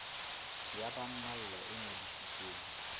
ya ba mmalwa e ngodisitsweng